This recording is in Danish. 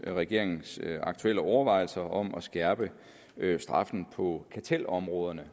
regeringens aktuelle overvejelser om at skærpe straffen på kartelområdet